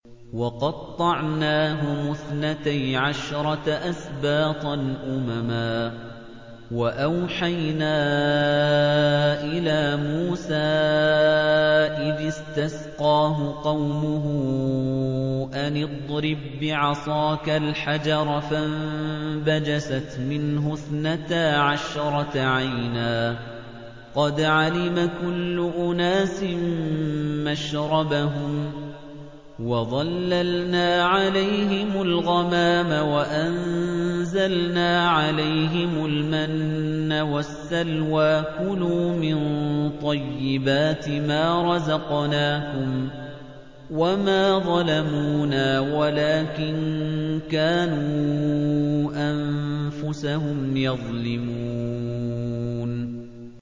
وَقَطَّعْنَاهُمُ اثْنَتَيْ عَشْرَةَ أَسْبَاطًا أُمَمًا ۚ وَأَوْحَيْنَا إِلَىٰ مُوسَىٰ إِذِ اسْتَسْقَاهُ قَوْمُهُ أَنِ اضْرِب بِّعَصَاكَ الْحَجَرَ ۖ فَانبَجَسَتْ مِنْهُ اثْنَتَا عَشْرَةَ عَيْنًا ۖ قَدْ عَلِمَ كُلُّ أُنَاسٍ مَّشْرَبَهُمْ ۚ وَظَلَّلْنَا عَلَيْهِمُ الْغَمَامَ وَأَنزَلْنَا عَلَيْهِمُ الْمَنَّ وَالسَّلْوَىٰ ۖ كُلُوا مِن طَيِّبَاتِ مَا رَزَقْنَاكُمْ ۚ وَمَا ظَلَمُونَا وَلَٰكِن كَانُوا أَنفُسَهُمْ يَظْلِمُونَ